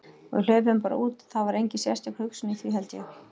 Og við hlupum bara út, það var engin sérstök hugsun í því, held ég.